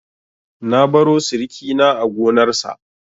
Na baro sirikina a gonarsa.